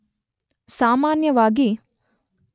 ಸಾಮಾನ್ಯವಾಗಿ